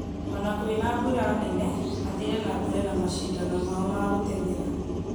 ona kwĩna mbura nene, mathire nambere na macindano mao ma gũtengera